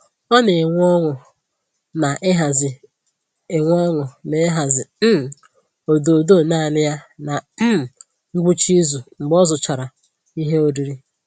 Ọ na enwe ọñụ na-ịhazi enwe ọñụ na-ịhazi um ododo naanị ya na um ngwụcha izu mgbe ọ zụchara ihe oriri